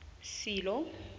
silo